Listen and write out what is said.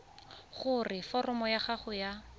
gore foromo ya gago ya